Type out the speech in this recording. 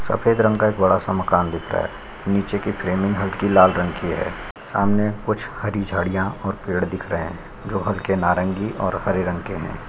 सफ़ेद रंग का एक बड़ा सा मकान दिख रहा है नीचे की फ्रेमिंग हलके लाल रंग की है सामने कुछ हरी झाड़ियाँ और पेड़ दिख रहे है जो हलके नारंगी और हरे रंग के है ।